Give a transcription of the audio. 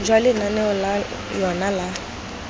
jwa lenaneo la yona la